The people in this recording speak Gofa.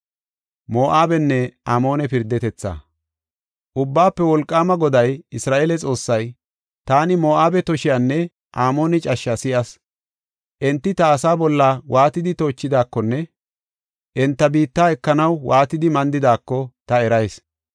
Ubbaafe Wolqaama Goday, Isra7eele Xoossay, “Taani Moo7abe tooshiyanne Amoone cashshaa si7as. Enti ta asaa waatidi toochidaakonne enta biitta ekanaw waatidi mandidaako ta erayis.